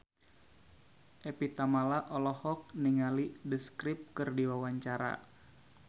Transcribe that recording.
Evie Tamala olohok ningali The Script keur diwawancara